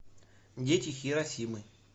дети хиросимы